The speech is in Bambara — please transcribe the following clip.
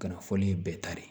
Ka na fɔli bɛɛ kari